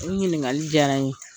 Nin ɲiniŋali diyara n ye.